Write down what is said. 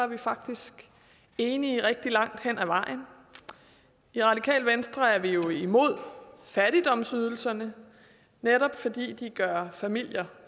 vi faktisk enige rigtig langt hen ad vejen i radikale venstre er vi jo imod fattigdomsydelserne netop fordi de gør familier